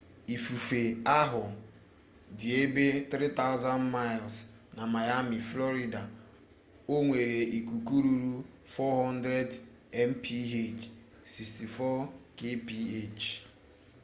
ifufe ahu di ebe 3,000miles na miami florida o nwere ikuku ruru 40mph64 kph